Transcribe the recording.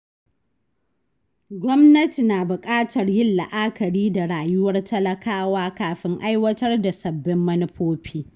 Gwamnati na bukatar yin la’akari da rayuwar talakawa kafin aiwatar da sabbin manufofi.